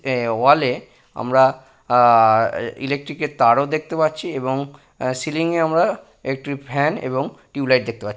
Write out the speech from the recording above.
এ wall -এ আমরা আহঃ ই ইলেক্ট্রিক -এর তারও দেখতে পাচ্ছি এবং এ সিলিং এ আমরা একটি ফ্যান এবং টিউব লাইট দেখতে পা--